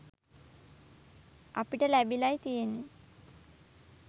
අපිට ලැබිලයි තියෙන්නෙ.